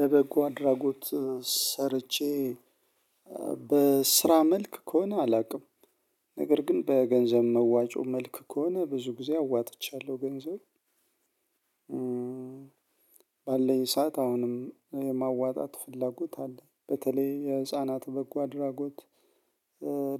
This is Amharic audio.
ለበጎ አድራጎት ሰርቼ በስራ መልክ ከሆነ አላውቅም ነገር ግን በገንዘብ መዋጮ መልክ ከሆነ ብዙ ጊዜ አዋጥቻለሁ ገንዘብ ዘይ ባለኝ ሰዓት አሁንም ማዋጣት ፍላጎት አለኝ በተለይ የህፃናት በጎ አድራጎት